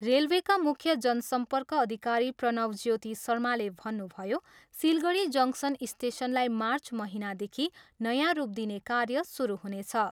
रेलवेका मुख्य जनसर्म्पक अधिकारी प्रणव ज्योति शर्माले भन्नुभयो, सिलगढी जङ्सन स्टेसनलाई मार्च महिनादेखि नयाँ रूप दिने कार्य सुरु हुनेछ।